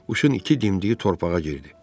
Quşun iki dimdiyi torpağa girdi.